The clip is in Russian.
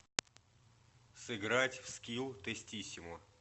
сыграть в скилл тестиссимо